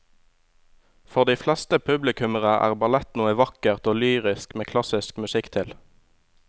For de fleste publikummere er ballett noe vakkert og lyrisk med klassisk musikk til.